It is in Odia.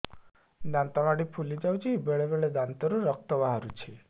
ଦାନ୍ତ ମାଢ଼ି ଫୁଲି ଯାଉଛି ବେଳେବେଳେ ଦାନ୍ତରୁ ରକ୍ତ ବାହାରୁଛି